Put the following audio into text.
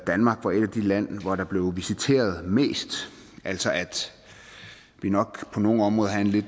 danmark var et af de lande hvor der blev viseret mest altså at vi nok på nogle områder havde en lidt